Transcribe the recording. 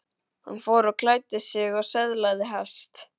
Hann fór og klæddi sig og söðlaði hest.